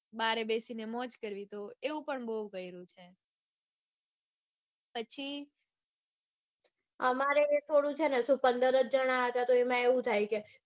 બારે બેસીને મોજ કરવી તો એવું પણ બઉ કર્યું છે. પછી અમારે થોડું શું પંદર જ જન હતા તો એમાં એવું થાય કે